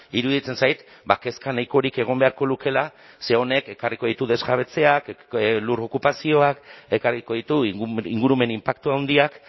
iruditzen zait ba kezka nahikorik egon beharko lukeela ze honek ekarriko ditu desjabetzeak ekarriko ditu lur okupazioak ekarriko ditu ingurumen inpaktu handiak